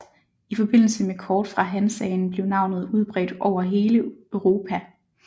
I forbindelse med kort fra Hansaen blev navnet udbredt over hele Europa